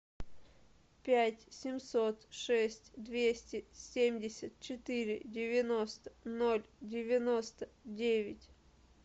пять семьсот шесть двести семьдесят четыре девяносто ноль девяносто девять